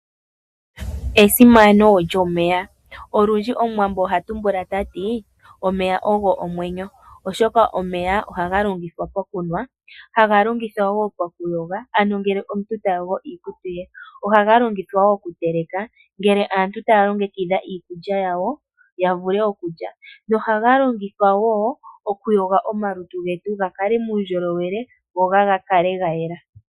Esimano lyomeya, olundji omuwambo oha tumbula ta ti: "omeya ogo omwenyo" oshoka omeya ohaga longithwa pokunwa, haga longithwa woo pokuyoga ano ngele omuntu ta yogo iikutu ye, ohaga longithwa woo okuteleka ngele antu taya longekidha iikulya yawo ya vule okulya, ohaga longithwa woo okuyoga omalutu getu ga kale muundjolowele go ga kale ga yela.